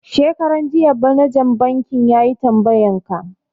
Shekaran jiya manajan banki yayi tambayan ka